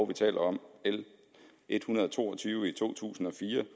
vi taler om l en hundrede og to og tyve i to tusind og fire